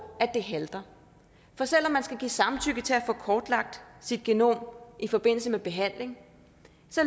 det halter for selv om man skal give samtykke til at få kortlagt sit genom i forbindelse med behandling